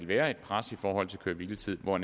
være et pres i forhold til køre hvile tiden og